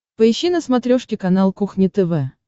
поищи на смотрешке канал кухня тв